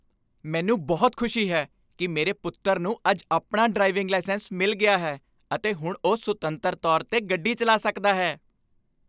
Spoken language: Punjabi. ਮੈਨੂੰ ਬਹੁਤ ਖੁਸ਼ੀ ਹੈ ਕਿ ਮੇਰੇ ਪੁੱਤਰ ਨੂੰ ਅੱਜ ਆਪਣਾ ਡਰਾਈਵਿੰਗ ਲਾਇਸੈਂਸ ਮਿਲ ਗਿਆ ਹੈ ਅਤੇ ਹੁਣ ਉਹ ਸੁਤੰਤਰ ਤੌਰ 'ਤੇ ਗੱਡੀ ਚਲਾ ਸਕਦਾ ਹੈ।